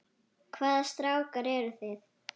Hvaða strákar eru það?